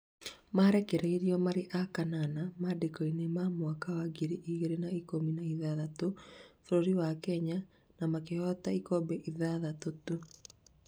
mararĩkirie marĩ a kanana mandĩko-inĩ ma mwaka wa ngiri igĩrĩ na ikũmi na ithathatũ, bũrũri wa Kenya na makĩhota ikombe ithathatũ tũ